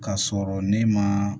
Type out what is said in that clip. Ka sɔrɔ ne ma